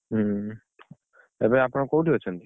ହୁଁ ଏବେ ଆପଣ କୋଉଠି ଅଛନ୍ତି?